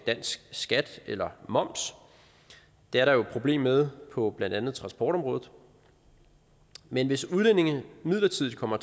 dansk skat eller moms det er der jo et problem med på blandt andet transportområdet men hvis udlændinge midlertidigt kommer